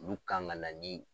Olu kan ka na ni.